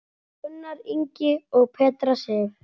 Gunnar Ingi og Petra Sif.